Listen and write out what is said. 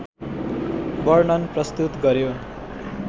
वर्णन प्रस्तुत गर्‍यो।